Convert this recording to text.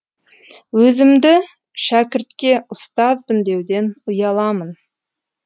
өзімді шәкіртке ұстазбын деуден ұяламын